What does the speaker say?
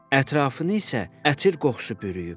Ətrafını isə ətir qoxusu bürüyüb.